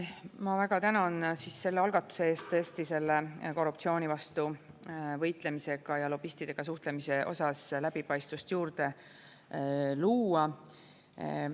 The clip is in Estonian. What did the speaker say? Ma väga tänan selle algatuse eest tõesti korruptsiooni vastu võitlemisega ja lobistidega suhtlemise osas läbipaistvust juurde luua.